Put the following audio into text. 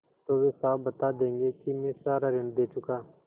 तो वे साफ बता देंगे कि मैं सारा ऋण दे चुका